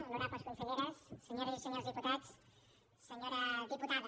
honorables conselleres senyores i senyors diputats senyora diputada